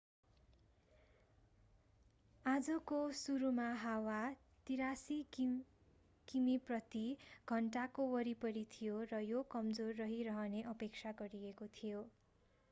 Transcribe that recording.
आजको सुरुमा हावा 83 किमी प्रति घण्टाको वरिपरि थियो र यो कमजोर रहिरहने अपेक्षा गरिएको थियो